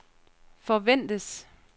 forventes